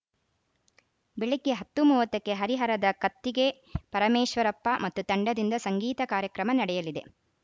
ಬೆಳಗ್ಗೆ ಹತ್ತು ಮೂವತ್ತಕ್ಕೆ ಹರಿಹರದ ಕತ್ತಿಗೆ ಪರಮೇಶ್ವರಪ್ಪ ಮತ್ತು ತಂಡದಿಂದ ಸಂಗೀತ ಕಾರ್ಯಕ್ರಮ ನಡೆಯಲಿದೆ